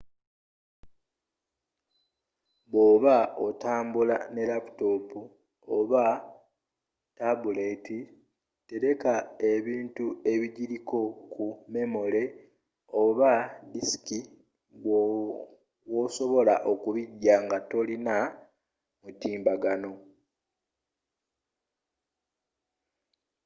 bwoba otambula ne laaputoopu oba tabuleeti tereka ebintu ebijiriko ku memole oba disiki woosobola okubijja nga tolina mutimbagano